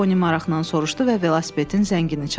Poni maraqla soruşdu və velosipedin zəngini çaldı.